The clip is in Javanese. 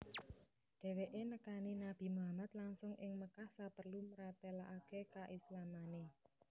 Dheweke nekani Nabi Muhammad langsung ing Mekkah saperlu mratelakake kaislamane